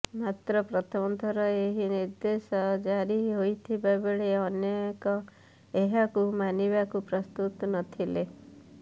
ମାତ୍ର ପ୍ରଥମଥର ଏହି ନିର୍ଦେଶ ଜାରି ହୋଇଥିବା ବେଳେ ଅନେକ ଏହାକୁ ମାନିବାକୁ ପ୍ରସ୍ତୁତ ନଥିଲେ